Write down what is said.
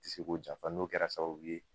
Ti se k'o janfa n'o kɛra sababu ye